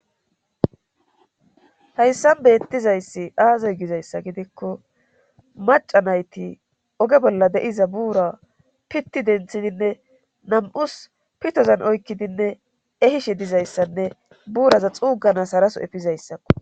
Hayssan beettizayssi aaze gizayssa gidikko maca nayti oge bolla de7iza buura pitti denthidinne nam7us pitozan oykkidinne ehishe dizayssanne buuraza xuuganas haraso efizayssakko.